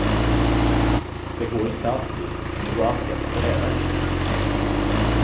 Det går inte alltid, men det går alltid att sträva efter det.